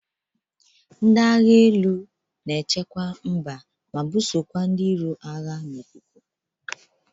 Ndị agha elu na echekwa mba ma bụsokwa ndị iro agha n'ikuku.